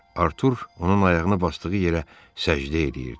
Artur onun ayağını basdığı yerə səcdə eləyirdi.